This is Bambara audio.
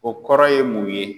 O kɔrɔ ye mun ye?